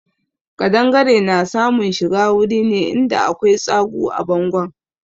Ƙadangare na samun shiga wuri ne in da akwai tsagu a bangon.